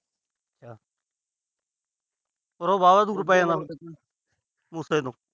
Oro ਵਾਹਵਾ ਦੂਰ ਪੈ ਜਾਂਦਾ ਮੂਸੇ ਤੋਂ।